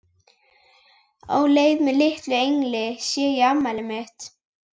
Á leiði með litlum engli sé ég afmælið mitt.